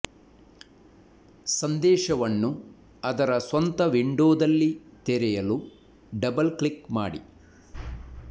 ಸಂದೇಶವನ್ನು ಅದರ ಸ್ವಂತ ವಿಂಡೋದಲ್ಲಿ ತೆರೆಯಲು ಡಬಲ್ ಕ್ಲಿಕ್ ಮಾಡಿ